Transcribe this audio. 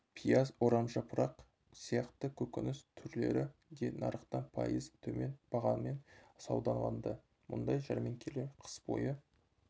пияз орамжапырақ сияқты көкөніс түрлері де нарықтан пайыз төмен бағамен саудаланды мұндай жәрмеңкелер қыс бойы